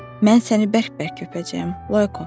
Mən səni bərk-bərk öpəcəyəm, Loyko.